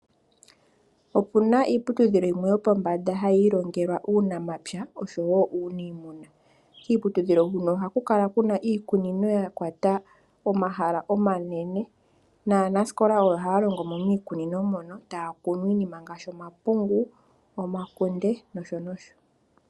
Opu na iiputudhilo yimwe yopombanda hayi ilongelwa uunamapya osho wo uunimuna. Kiiputudhilo huno ohaku kala iikunino ya kwata omahala omanene, naanasikola oyo haya longo mo miikunino moka, taya kunu iinima ngashi omapungu, omakunde na yilwe.